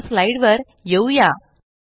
पुन्हा स्लाइड वर येऊया